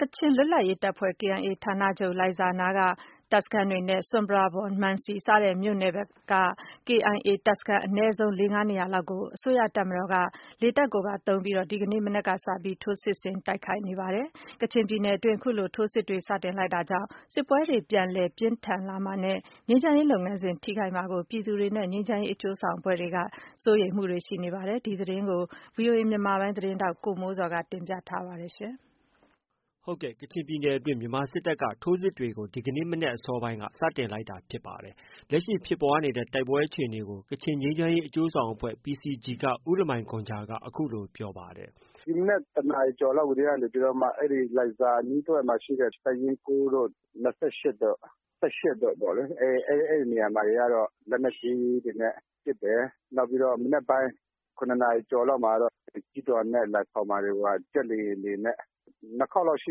ကချင်လွတ်လပ်ရေးတပ်ဖွဲ့ KIA ဌာနချုပ်လိုင်ဇာအနီးက တပ်စခန်းတွေနဲ့ ဆွမ်ပရာဘွန်၊ မန်စီစတဲ့မြို့နယ်ဘက် KIA တပ်စခန်းအနည်းဆုံး ၄-၅နေရာလောက်ကို အစိုးရတပ်မတော်က လေတပ်ကိုပါအသုံးပြုပြီး ဒီကနေ့ မနက်ကစလို့ ထိုးစစ်ဆင်တိုက်ခိုက်နေပါတယ်။ ကချင်ပြည်နယ်အတွင်း အခုလို ထိုးစစ်တွေ စတင်လိုက်တာကြောင့် စစ်ပွဲတွေ ပြန်လည်ပြင်းထန်လာမှာနဲ့ ငြိမ်းချမ်းရေး လုပ်ငန်းစဉ်ကို ထိခိုက်မှာကို ပြည်သူတွေနဲ့ ငြိမ်းချမ်းရေး အကျိုးဆောင်အဖွဲ့တွေက စိုးရိမ်တာတွေ ရှိနေပါတယ်။ ဒီသတင်းကို ဗွီအိုအေမြန်မာပိုင်း ရဲ့ သတင်းထောက်က ကိုမိုးဇော်က တင်ပြထားပါတယ်။ ကချင်ပြည်နယ်အတွင်း မြန်မာစစ်တပ်ရဲ့ ထိုးစစ်တွေကို ဒီကနေ့ မနက် အစောပိုင်းက စတင်လိုက်တာဖြစ်ပါတယ်။ လက်ရှိဖြစ်ပွားနေတဲ့ တိုက်ပွဲအခြေအနေကို ကချင်ငြိမ်းချမ်းရေး အကျိုးဆောင်အဖွဲ့က ဦးလမိုင်ဂွမ်ဂျာ အခုလို ပြောပါတယ်။ " ဒီမနက် တစ်နာရီကျောက်လောက်ကတည်းက နေပြီးတော့ အဲ့ဒီ့ လိုင်ဇာ အနီးတဝိုက်မှာ တပ်ရင်း တို့၊ တို့၊ တို့ပေါ့လေ။ အဲ့ဒီ့နေရာတွေမှာ ကျတော့ လက်နက်ကြီးတွေနဲ့ပစ်တယ်။ နောက်ပြီး မနက်ပိုင်းမှာတော့ ကျီးထော်နဲ့ လွယ်ခေါင်မှာ ဂျက်လေယာဉ်တွေနဲ့ လာပစ်နေတာ နှစ်ခေါက်လောက်ရှိ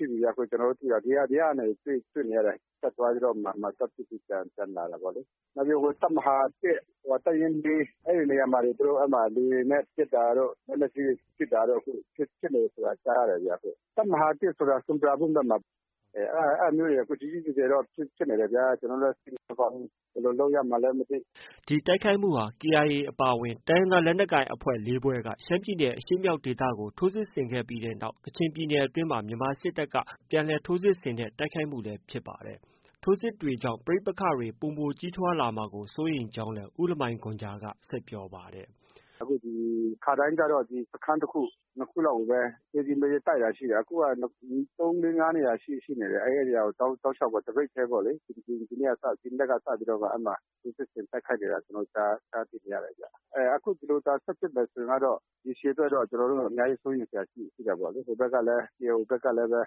ပြီဗျ ကျနော်တို့ သိတာ။။ ကျနော်တို့ ဒီကနေ တွေ့နေရတယ်။ တက်သွားပြီးတော့မှ သွား ပစ်ပြီးတော့ ပြန် လာတာ။ နောက်ပြီးတော့ တပ်မဟာ ၊ တပ်ရင်း မှာ သူတို့ အဲ့မှာ လေယာဉ်နဲ့ပစ်တာတို့၊ လက်နက်ကြီး ပစ်တာတို့ ဖြစ်နေတာ ကြားရတယ်ဗျ။ တပ်မဟာ ဆိုတာ ဆွမ်ပရာဘွမ်ဘက်မှာ ကြီးကြီးကျယ်ကျယ်ပစ်နေတယ်ဗျာ။ ကျနော်တို့လည်း စိတ်မကောင်းဘူး။ ဘယ်လိုလုပ်ရမှန်းလည်းမသိ။" ဒီတိုက်ခိုက်မှုဟာ၊ KIA အပါအဝင် တိုင်းရင်းသား လက်နက်ကိုင်အဖွဲ့ ၄ ဖွဲ့က ရှမ်းပြည်နယ် အရှေ့မြောက်ဒေသကို ထိုးစစ်ဆင်ခဲ့ပြီးနောက်၊ ကချင်ပြည်နယ် တွင်းမှာ မြန်မာစစ်တပ်က ထိုးစစ်ဆင်တဲ့ တိုက်ခိုက်မှုလည်းဖြစ်ပါတယ်။ ထိုးစစ်တွေကြောင့် ပဋိပက္ခွတွေ ပိုမိုကြီးထွားလာမှာကို စိုးရိမ်ကြောင်းလည်း ဦးလမိုင်ဂွမ်ဂျာက ဆက်ပြောပါတယ်။ " ခါတိုင်းကဆိုရင် စခန်း တခု၊ နှစ်ခုလောက်ပဲ သည်းကြီးမည်းကြီး တိုက်တာ၊ အခုက သုံး၊လေး၊ ငါးနေရာလောက်ကို တောက်လျောက်ပေါ့ တပြိုင်နက်တည်းပေါ့လေ ထိုးစစ်ဆင်တိုက်ခိုက်နေတာ ကျနော်တို့ ကြားသိနေရတယ်။ အခု ဒီလိုသာ ဆက်ဖြစ်နေမယ်ဆိုရင် ရေရှည်အတွက် ကျနော်တို့ အများကြီး စိုးရိမ်စရာ ရှိတာပေါ့လေ။ ဟိုဘက်ကလည်း KIO ဘက်ကလည်း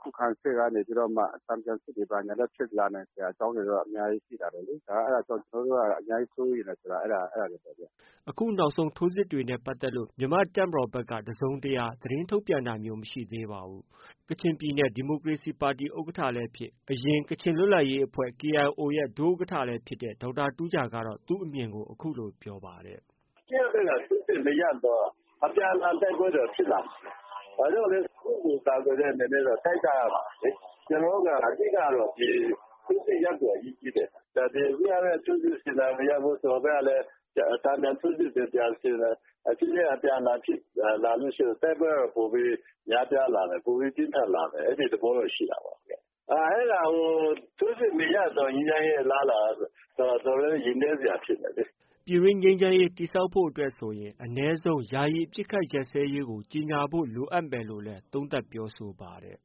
ခုခံစစ်ကနေ တန်ပြန်စစ် ဖြစ်လာနိုင်စရာ အကြောင်းတွေတော့ အများကြီးရှိလာနိုင်တယ်လေ။ ဒါကြောင့် ကျနော်တို့က အများကြီး စိုးရိမ်တယ်ဆိုတာ အဲ့တာတွေပေါ့ဗျာ။" အခုနောက်ဆုံး ထိုးစစ်တွေနဲ့ ပတ်သက်လို့ မြန်မာ့တပ်မတော်ဖက် တစုံတရာ သတင်းထုတ်ပြန်တာမျိုးတော့ မရှိသေးပါဘူး။ ကချင်ပြည်နယ် ဒီမိုကရေစီပါတီ ဥက္ကဋ္ဌလည်းဖြစ်၊ အရင် ကချင်လွတ်လပ်ရေးအဖွဲ့ KIO ရဲ့ ဒုဥက္ကဋ္ဌလည်းဖြစ်တဲ့ ဒေါက်တာတူးဂျာကတော့ သူ့အမြင်ကို အခုလို ပြောပါတယ်။ "အစိုးရတပ်ဘက်က ထိုးစစ်တွေ မရပ်သေးသရွေ့တော့ အပြန်အလှန် တိုက်ပွဲတွေကတော့ ဖြစ်နေမှာပဲ။ ဘာဖြစ်လို့လဲဆိုတော့ ကိုယ့်ကိုကိုယ် ကာကွယ်တဲ့အနေနဲ့တော့ တိုက်ကြရမှာပဲလေ။ ကျနော်တို့က အဓိက ကတော့ ထိုးစစ်တွေ ရပ်ဖို့က အရေးကြီးတယ်။ စစ်တပ်ကလည်း ထိုးစစ်ဆင်မယ်။ ဟိုဘက်ကလည်း တန်ပြန်ထိုးစစ်ဆင်မယ် အပြန်အလှန်စစ်ဖြစ်လာလို့ရှိရင် တိုက်ပွဲက ပိုပြီး များပြားလာမယ်။ ပိုပြီး ပြင်းထန်လာမယ်။ အဲ့ဒီ့သဘောတော့ ရှိတာပေါ့ဗျ။ အဲ့တာကို ထိုးစစ်မရပ်ရင်တော့ ငြိမ်းချမ်းရေး အလားအလာကတော့ အတော်လေး ရင်လေးစရာဖြစ်နေတယ်လေ။" ပြည်တွင်းငြိမ်းချမ်းရေးတည်ဆောက်ရေးအတွက်ဆိုရင် အနည်းဆုံး ယာယီ အပစ်အခတ်ရပ်စဲရေးကို ကြေညာဖို့ လိုအပ်မယ်လို့လည်း သုံးသပ်ပြောဆိုပါတယ်။ "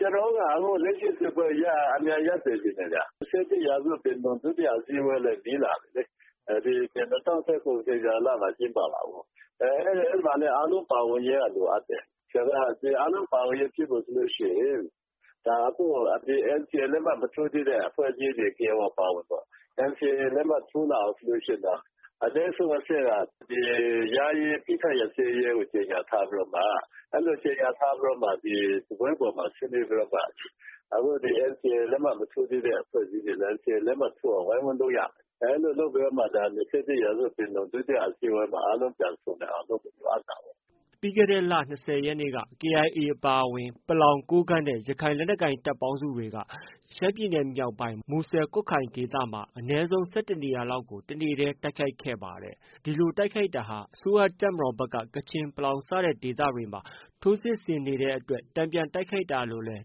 ကျနော်တို့ကတော့ အခုလက်ရှိ စစ်ပွဲကို အမြန်ရပ်စေချင်တယ်ဗျ။ ၂၁ရာစုပင်လုံ ဒုတိယ အစည်းအဝေးလည်း နီးလာပြီလေ။ ဒီ၂၀၁၇ မှာ ကျင်းပမှာကိုး။ အဲ့ဒီ့မှာလည်း အားလုံးပါဝင်ရေးက လိုအပ်တယ်။ ဆိုတော့ အားလုံးပါဝင်ရေးဆိုလို့ရှိရင် အခု NCA လက်မှတ်မထိုးသေးတဲ့အဖွဲ့အစည်းတွေ KIA အပါအဝင်ပေါ့ NCA လက်မှတ်ထိုး လာဖို့ဆိုရင် အနည်းဆုံးအဆင့်က ယာယီ အပစ်အခတ် ရပ်စဲရေးကို ကြေညာ ထားပြီးတော့မှ အဲ့လိုကြေညာထားပြီးတော့ စားပွဲပေါ်မှာ ဆွေးနွေးပြီးတော့မှ အခု NCA လက်မှတ် မထိုးရသေးတဲ့ အဖွဲ့အစည်းတွေ NCA လက်မှတ်ထိုးအောင် ဝိုင်းဝန်းလုပ်ရမယ်။ အဲ့လိုလုပ်မှ အခု ၂၁ရာစုပင်လုံ ဒုတိယအစည်းအဝေးမှာ အားလုံး ပြန်ဆုံနိုင်အောင် လုပ်ဖို့ လိုအပ်တာပေါ့။" ပြီးခဲ့တဲ့လ ၂၀ရက်နေ့က KIA အပါအဝင် ပလောင်၊ ကိုးကန့်နဲ့ ရခိုင်လက်နက်ကိုင် တပ်ပေါင်းစုတွေက ရှမ်းပြည်နယ်မြောက်ပိုင်း မူဆယ်၊ ကွတ်ခိုင် ဒေသမှာ အနည်းဆုံး ၁၁နေရာလောက်ကို တနေ့တည်း တိုက်ခိုက်ခဲ့ပါတယ်။ ဒီလိုတိုက်ခိုက်တာဟာ အစိုးရတပ်မတော်ဖက်က ကချင်နဲ့ ပလောင်စတဲ့ဒေသတွေမှာ ထိုးစစ်ဆင်နေတဲ့ အတွက် တန်ပြန်တိုက်ခိုက်တာလို့လည်း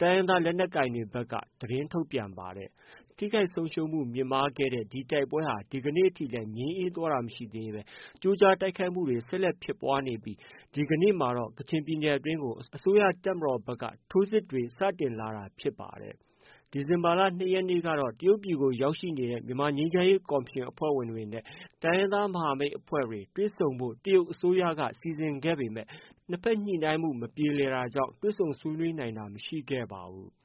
တိုင်းရင်းသားလက်ကိုင်တွေက သတင်းထုတ်ပြန်ပါတယ်။ ထိခိုက်ဆုံးရှုံးမှုတွေ မြင့်မားခဲ့တဲ့ ဒီတိုက်ပွဲဟာ ဒီကနေ့ထိလည်း ငြိမ်းအေးသွားတာမရှိသေးဘဲ ကြိုးကြား တိုက်ခိုက်တာတွေ ရှိနေဆဲဖြစ်ပြီး ဒီကနေ့မှာတော့ ကချင်ပြည်နယ်အတွင်းကို အစိုးရတပ်မတော်ဖက်က ထိုးစစ်တွေ စတင်လာတာလည်း ဖြစ်ပါတယ်။ ဒီဇင်ဘာလ ၂ရက်နေ့ကတော့ တရုတ်ပြည်ကို ရောက် ရှိနေတဲ့ မြန်မာ ငြိမ်းချမ်းရေးကော်မရှင် နဲ့ တိုင်းရင်းသားမဟာမိတ်အဖွဲ့တွေ တွေ့ဆုံဖို့ တရုတ် အစိုးရက စီစဉ်ခဲ့ပေမဲ့ နှစ်ဖက် ညှိနှိုင်းမှု မပြေလည်တာကြောင့် တွေ့ဆုံနိုင်တာ မရှိခဲ့ပါဘူး။